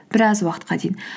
біраз уақытқа дейін